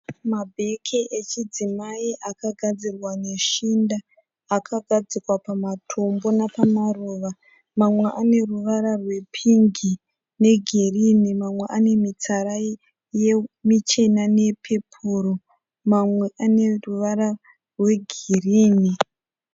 Mabheke echidzimai akagadzirwa neshinda, akagadzikwa pamatombo nepamaruva. Mamwe ane ruvara rwepingi negirinhi, mamwe ane mitsara michena neyepepuru, mamwe ane ruvara rwegirinhi.